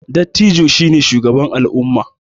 Dattijo shi ne shugaba al'umma